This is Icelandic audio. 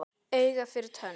Auga fyrir tönn.